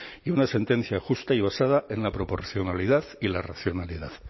y una sentencia justa y basada en la proporcionalidad y la racionalidad